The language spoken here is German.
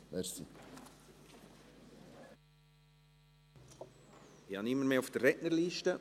Ich habe niemanden mehr auf der Rednerliste.